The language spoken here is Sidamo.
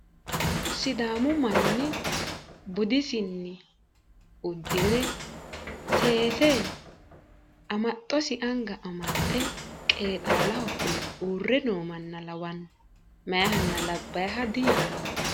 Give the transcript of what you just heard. sidaamu manni budisinni uddire seese amaxxosi anga amaxxe qeexaalho fule uurre noo manna lawanno. meyaahanna labbaaha diyaanno.